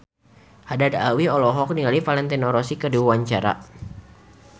Haddad Alwi olohok ningali Valentino Rossi keur diwawancara